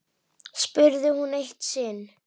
spurði hún eitt sinn.